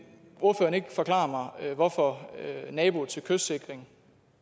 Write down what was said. forklare mig hvorfor naboer til kystsikring